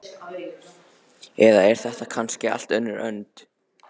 Eða er þetta kannski allt önnur önd?